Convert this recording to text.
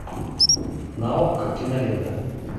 на окко кинолента